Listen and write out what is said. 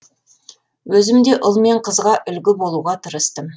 өзім де ұл мен қызға үлгі болуға тырыстым